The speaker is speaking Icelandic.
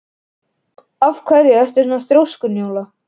Af hverju ertu svona þrjóskur, Njóla?